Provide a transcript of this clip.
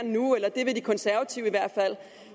nu eller det vil de konservative i hvert fald